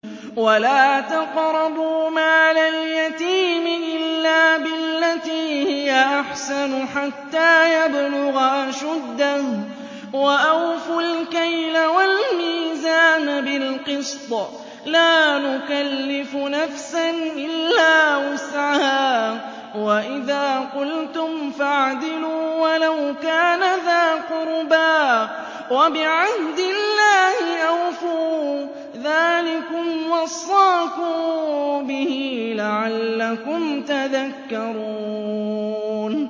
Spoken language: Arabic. وَلَا تَقْرَبُوا مَالَ الْيَتِيمِ إِلَّا بِالَّتِي هِيَ أَحْسَنُ حَتَّىٰ يَبْلُغَ أَشُدَّهُ ۖ وَأَوْفُوا الْكَيْلَ وَالْمِيزَانَ بِالْقِسْطِ ۖ لَا نُكَلِّفُ نَفْسًا إِلَّا وُسْعَهَا ۖ وَإِذَا قُلْتُمْ فَاعْدِلُوا وَلَوْ كَانَ ذَا قُرْبَىٰ ۖ وَبِعَهْدِ اللَّهِ أَوْفُوا ۚ ذَٰلِكُمْ وَصَّاكُم بِهِ لَعَلَّكُمْ تَذَكَّرُونَ